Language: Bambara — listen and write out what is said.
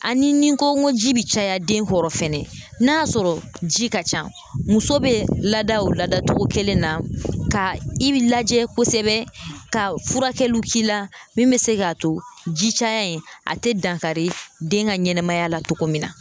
Ani ni n ko n ko ji bɛ caya den kɔrɔ fɛnɛ, n'a sɔrɔ ji ka ca muso bɛ lada, o ladatogo kelen na, ka i bi lajɛ kosɛbɛ ka furakɛliw k'i la min bɛ se k'a to ji caya in , a tɛ dankari den ka ɲɛnɛmaya la cogo min na